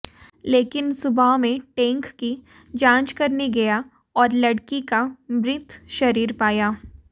लेकिन सुबह मैं टैंक की जांच करने गया और लड़की का मृत शरीर पाया